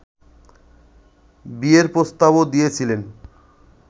বিয়ের প্রস্তাবও দিয়েছিলেন